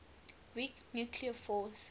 weak nuclear force